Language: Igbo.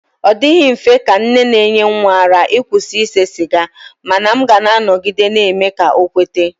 Ọ dịghị mfe ka nne na-enye nwa ara ịkwụsị ise siga mana m ga-anọgide na-eme ka ọ kweta.